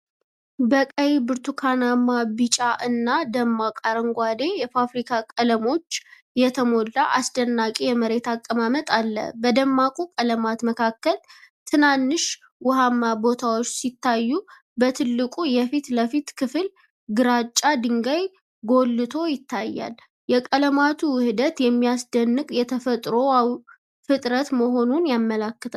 በቀይ፣ ብርቱካናማ፣ ቢጫ እና ደማቅ አረንጓዴ የፋብሪካ ቀለሞች የተሞላ አስደናቂ የመሬት አቀማመጥ አለ። በደማቁ ቀለማት መካከል ትናንሽ ውሃማ ቦታዎች ሲታዩ፣ በትልቁ የፊት ለፊት ክፍል ግራጫ ድንጋይ ጎልቶ ይታያል። የቀለማቱ ውህደት የሚያስደንቅ የተፈጥሮ ፍጥረት መሆኑን ያመለክታል።